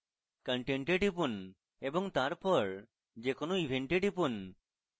content এ টিপুন এবং তারপর যে কোনো event এ টিপুন